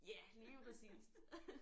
Ja lige præcist